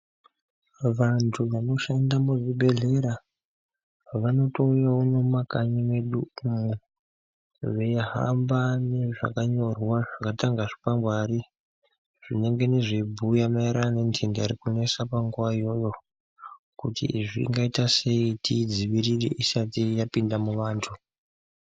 Vantu vanoshanda muzvibhedhlera vanotouya wo nemumakanyi mwedumwo veihamba nezvakanyorwa zvakaita kunge zvikwakwangwari zvinongane zveibhuya maererano nentenda irikunesa panguva iyoyo kuti zvingaitasei kuti tiidzivirire isati yapinda muvantu.